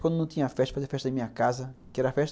Quando não tinha festa, eu fazia festa em minha casa, que era festa